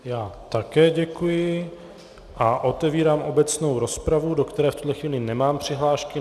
Já také děkuji a otevírám obecnou rozpravu, do které v tuto chvíli nemám přihlášky.